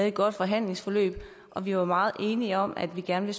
et godt forhandlingsforløb og vi var meget enige om at vi gerne